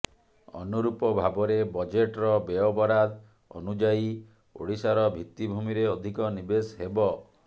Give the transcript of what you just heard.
ଅନୁରୂପ ଭାବରେ ବଜେଟର ବ୍ୟୟବରାଦ ଅନୁଯାୟୀ ଓଡିଶାର ଭିତ୍ତି ଭୂମିରେ ଅଧିକ ନିବେଶ ହେବ